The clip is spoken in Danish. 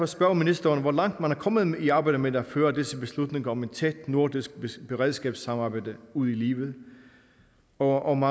spørge ministeren om hvor langt man er kommet i arbejdet med at føre disse beslutninger om et tæt nordisk beredskabssamarbejde ud i livet og om